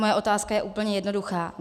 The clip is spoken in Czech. Moje otázka je úplně jednoduchá.